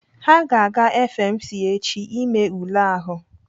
Ha ga-aga FMC echi ime ule ahụ.